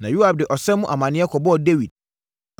Na Yoab de ɔsa mu amaneɛ kɔbɔɔ Dawid.